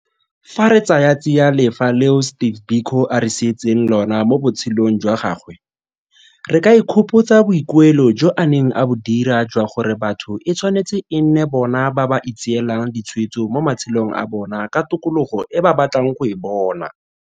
Fa re tsaya tsiya lefa leo Steve Biko a re sietseng lona mo botshelong jwa gagwe, re ka ikgopotsa boikuelo jo a neng a bo dira jwa gore batho e tshwanetse e nne bona ba ba itseelang ditshwetso mo matshelong a bona ka tokologo e ba batlang go e bona.